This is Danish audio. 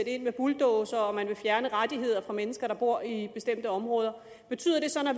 ind med bulldozere og fjerne rettigheder for mennesker der bor i bestemte områder betyder det så at når